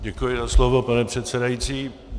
Děkuji za slovo, pane předsedající.